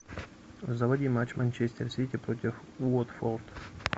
заводи матч манчестер сити против уотфорд